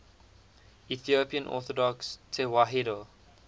ethiopian orthodox tewahedo